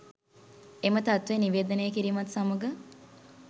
එම තත්වය නිවේදනය කිරීමත් සමඟ